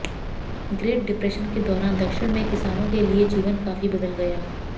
great depression के दौरान दक्षिण में किसानों के लिए जीवन काफी बदल गया